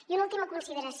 i una última consideració